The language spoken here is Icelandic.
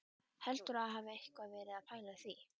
Heldurðu að ég hafi eitthvað verið að pæla í því!